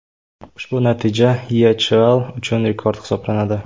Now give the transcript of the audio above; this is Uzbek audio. Ushbu natija YeChL uchun rekord hisoblanadi.